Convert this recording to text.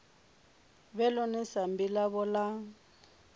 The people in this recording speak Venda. vhe ḽone sambi ḽavho ḽa